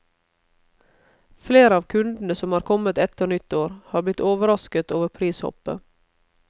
Flere av kundene som har kommet etter nyttår, har blitt overrasket over prishoppet.